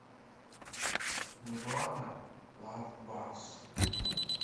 нирвана лав базз